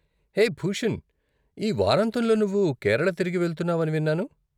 హే భూషణ్, ఈ వారాంతంలో నువ్వు కేరళ తిరిగి వెళ్తున్నావని విన్నాను.